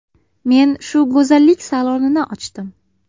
Men shu go‘zallik salonini ochdim.